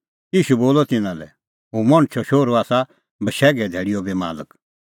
ईशू बोलअ तिन्नां लै हुंह मणछो शोहरू आसा बशैघे धैल़ीओ बी मालक